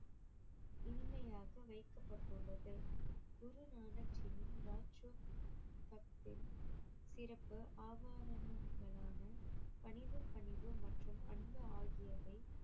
இனிமையாக வைக்கப்பட்டுள்ளது குரு நானக் ஜியின் பணிவு பணிவு மற்றும் அன்பு ஆகியவை